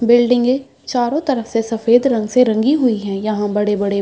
बिल्डिंगे चारो तरफ से सफेद रंग से रंगी हुई है । यहाँ बड़े बड़े --